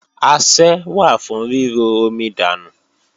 Asẹ́ wà fún ríro omi dànù.